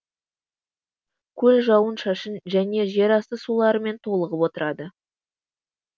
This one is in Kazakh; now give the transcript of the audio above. көл жауын шашын және жерасты суларымен толығып отырады